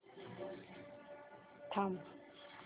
थांब